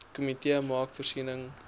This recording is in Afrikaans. komitee maak voorsiening